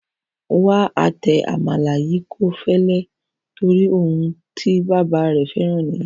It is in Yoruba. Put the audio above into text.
Wà á tẹ àmàlà yìí kó fẹlẹ torí ohun tí bàbá rẹ fẹ́ràn nìyẹn.